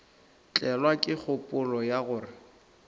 tlelwa ke kgopolo ya gore